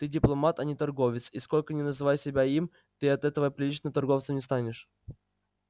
ты дипломат а не торговец и сколько ни называй себя им ты от этого приличным торговцем не станешь